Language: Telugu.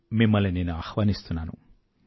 మిమ్మల్ని నేను ఆహ్వానిస్తున్నాను